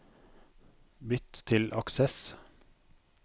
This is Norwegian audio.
Bytt til Access